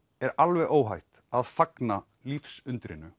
er alveg óhætt að fagna